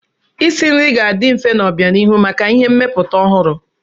Isi nri ga-adị mfe n'obianihu maka ihe mmepụta ọhụrụ.